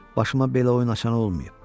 Başıma belə oyun açanı olmayıb.